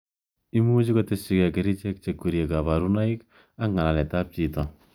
Imuchi koteshikei kerchek che kwerie kabarunaik ak ngalalet ab chito.